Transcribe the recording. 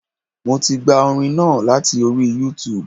Mo ti gba orin náà láti orí Youtube